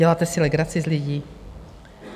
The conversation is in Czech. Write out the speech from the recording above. Děláte si legraci z lidí?